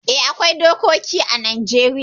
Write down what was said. Eh, akwai dokoki ã Najeriya.